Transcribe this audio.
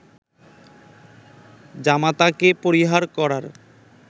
জামাতাকে পরিহার করার